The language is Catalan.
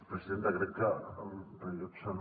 presidenta crec que el rellotge no